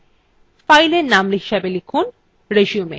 file name হিসাবে লিখুনresume